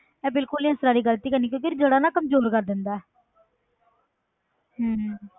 ਇਹ ਬਿਲਕੁਲ ਨੀ ਇਸ ਤਰ੍ਹਾਂ ਦੀ ਗ਼ਲਤੀ ਕਰਨੀ ਕਿਉਂਕਿ ਜੜ੍ਹਾਂ ਨਾ ਕਮਜ਼ੋਰ ਕਰ ਦਿੰਦਾ ਹੈ ਹਮ